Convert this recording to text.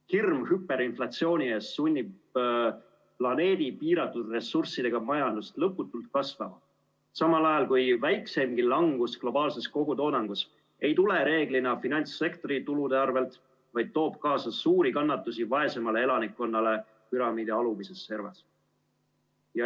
Hirm hüperinflatsiooni ees sunnib planeedi piiratud ressurssidega majandust lõputult kasvama, samal ajal kui väikseimgi langus globaalses kogutoodangus ei tule reeglina finantssektori tulude arvel, vaid toob kaasa suuri kannatusi vaesemale elanikkonnale püramiidi alumises servas.